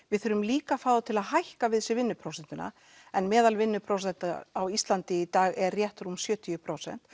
við þurfum líka að fá þá til að hækka við sig vinnuprósentuna en meðal vinnuprósenta á Íslandi í dag er rétt rúm sjötíu prósent